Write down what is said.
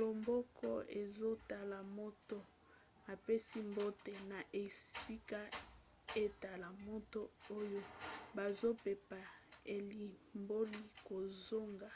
loboko ezotala moto apesi mbote na esika etala moto oyo bazopepa elimboli kozonga